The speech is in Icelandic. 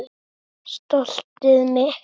Stoltið mitt.